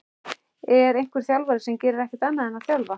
Er einhver þjálfari sem gerir ekkert annað en að þjálfa?